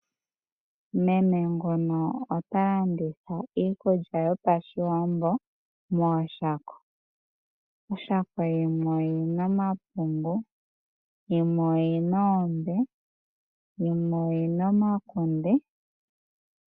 Meme ngono ota landitha iikulya yopashiwambo mooshako. Oshako yimwe oyina omapungu, yimwe oyina oombe, yimwe oyina omakunde.